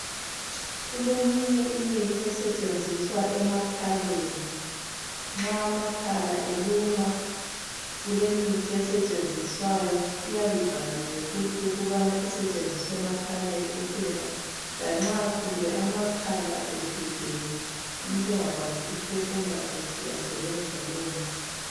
Kuleminye imithi esetshenziswa emakhaleni nxa amakhala eluma kulemithi esetshenziswayo iyabibhaliwe futhi ukubana isetshenziswa emakhaleni kuphela lanxa kumbe amakhala evimbene umuntu engakwanisi ukuphefumula kuhle uyasebenzisa lowo muthi.